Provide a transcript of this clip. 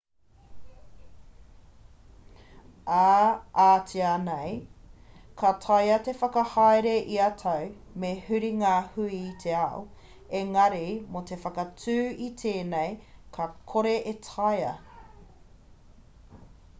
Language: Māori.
ā-atiā nei ka taea te whakahaere ia tau me huri ngā hui i te ao engari mō te whakaū i tēnei ka kore e taea